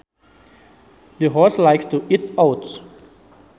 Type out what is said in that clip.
The horse likes to eat oats